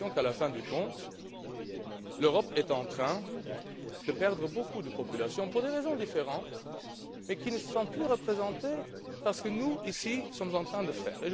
pense qu'en fin de compte l'Europe est en train de perdre beaucoup de populations, pour des raisons différentes, qui ne se sentent plus représentées par ce que nous sommes en train de faire.